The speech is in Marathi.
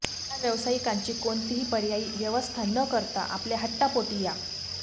या व्यावसायिकांची कोणतीही पर्यायी व्यवस्था न करता आपल्या हट्टापोटी या